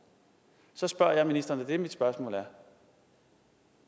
så spørger jeg ministeren og det er mit spørgsmål